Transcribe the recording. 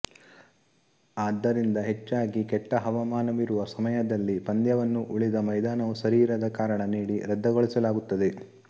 ಆದ್ದರಿಂದ ಹೆಚ್ಚಾಗಿ ಕೆಟ್ಟಹವಾಮಾನವಿರುವ ಸಮಯದಲ್ಲಿ ಪಂದ್ಯವನ್ನು ಉಳಿದ ಮೈದಾನವು ಸರಿಯಿರದ ಕಾರಣ ನೀಡಿ ರದ್ದುಗೊಳಿಸಲಾಗುತ್ತದೆ